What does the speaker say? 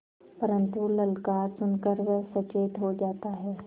परन्तु ललकार सुन कर वह सचेत हो जाता है